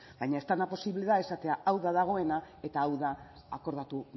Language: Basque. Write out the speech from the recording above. baina ez dena posible da esatea hau da dagoena eta hau da akordatu